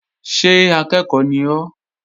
Ṣé akẹ́ẹ̀kọ́ ni ọ́?